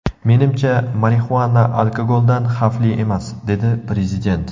Menimcha, marixuana alkogoldan xavfli emas”, dedi prezident.